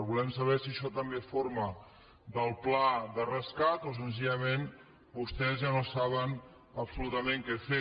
volem saber si això també forma part del pla de rescat o senzillament vostès ja no saben absolutament què fer